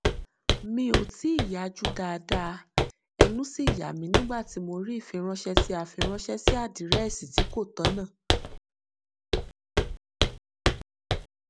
mi ò tíì yajú dáadáa ẹnu sì yàmí nígbà tí mo rí ifiránṣẹ tí a fi ránṣẹ sí àdírẹsì tí kò tọnà